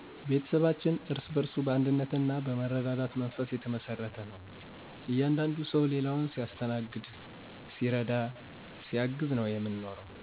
ቤተሰባችን እርስ በእርሱ በአንድነት ና መረዳዳት መንፈስ የተመሰረተ ነው። እያንዳንዱ ሰው ሌላውን ሲያስተናግድ ሲረዳ ሲያግዝ ነው የምንኖረው።